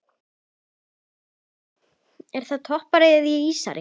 Er það toppari eða ísari?